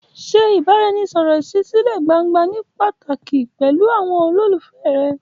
Ṣe ìbáraẹnisọ̀rọ̀ ìṣísílẹ̀ gbangba ní pàtàkì pẹ̀lú àwọn olólùfẹ́ rẹ.